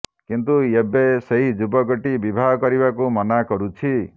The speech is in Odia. କିନ୍ତୁ ଏବେ ସେହି ଯୁବକଟି ବିବାହ କରିବାକୁ ମନା କରୁଛି